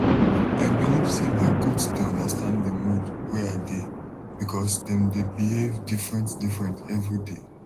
i believe say my goat dey understand di mood wey i dey because dem dey behave different different every day